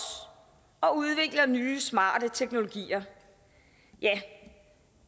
og udvikler nye smarte teknologier ja